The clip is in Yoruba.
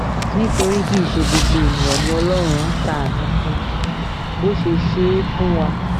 nítorí kì í ṣe gbogbo èèyàn ni ọlọ́run ń ṣàánú fún bó ṣe ṣe é fún wa